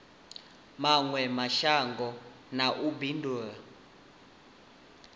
mawe mashango na u bindula